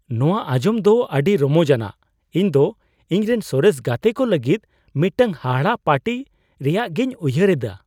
ᱱᱚᱶᱟ ᱟᱧᱡᱚᱢ ᱫᱚ ᱟᱹᱰᱤ ᱨᱚᱢᱚᱡ ᱟᱱᱟᱜ ! ᱤᱧ ᱫᱚ ᱤᱧᱨᱮᱱ ᱥᱚᱨᱮᱥ ᱜᱟᱛᱮ ᱠᱚ ᱞᱟᱹᱜᱤᱫ ᱢᱤᱫᱴᱟᱝ ᱦᱟᱦᱟᱲᱟ ᱯᱟᱨᱴᱤ ᱨᱮᱭᱟᱜᱤᱧ ᱩᱭᱦᱟᱹᱨ ᱤᱫᱟ ᱾